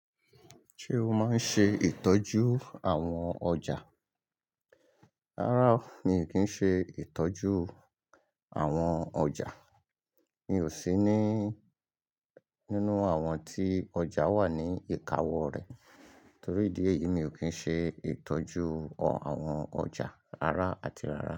Ṣé o máa ń ṣe ìtọ́jú àwọn ọjà? Rárá, mi ò kí ń ṣe ìtọ́jú àwọn ọjà. Mi ò sí ní nínú àwọn tí ọjà wà ní ìka wọ rẹ̀. Torí ìdí èyí, mi ò kí ń ṣe ìtọ́jú àwọn ọjà ara àti rárá.